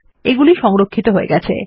এগুলি ই সংরক্ষিত হয়ে গেছে